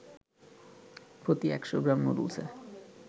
প্রতি ১০০ গ্রাম নুডলসে